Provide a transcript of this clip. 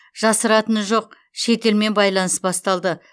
жасыратыны жоқ шетелмен байланыс басталды